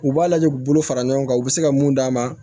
U b'a lajɛ u bolo fara ɲɔgɔn kan u bɛ se ka mun d'a ma